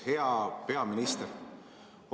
Hea peaminister!